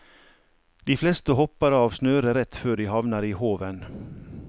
De fleste hopper av snøret rett før de havner i håven.